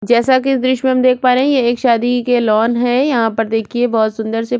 जैसे की इस द्रिश मे देख पा रहै है ये एक शादी के लॉन है यहा पर देखीये बहोत सुंदर सी--